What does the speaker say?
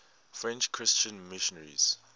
french christian missionaries